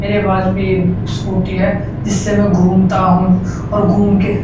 मेरे पास भी ए स्कूटी है जिससे में घूमता हूँ और घुमं के